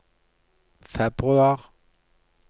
februar